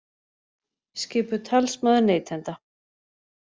Skipuð talsmaður neytenda